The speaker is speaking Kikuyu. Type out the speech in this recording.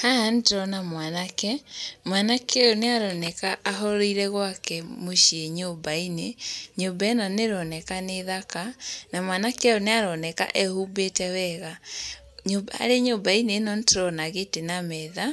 Haha nĩ ndĩrona mwanake, mwanake ũyũ nĩ aroneka ahoreire gwake mũciĩ nyũmba-inĩ, nyũmba ĩno nĩ ĩroneka nĩ thaka, na mwanake ũyũ nĩ aroneka ehumbĩte wega. Harĩ nyũmba-inĩ ĩno nĩ tũrona gĩtĩ na metha,